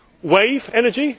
Wave energy?